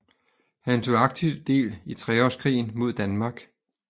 Han tog aktivt del i treårskrigen mod Danmark